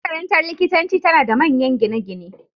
Makarantar likitanci tana da manyan gine-gine